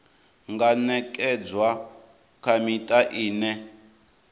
nga ṅekedzwa kha miṱa ine